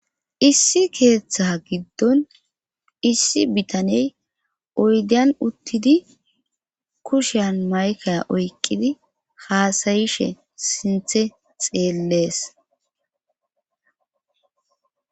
Issi thaa giddon issi bitaney oydiyan uttidi kushiyan matkiya oyqqidi haasayishe sinthe xeelles